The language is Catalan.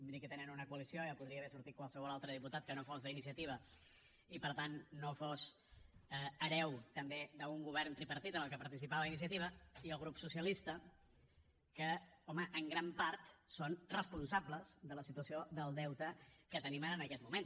miri que tenen una coalició ja podria haver sortit qualsevol altre diputat que no fos d’iniciativa i per tant no fos hereu també d’un govern tripartit en què participava iniciativa i el grup socialista que home en gran part són responsables de la situació del deute que tenim ara en aquest moment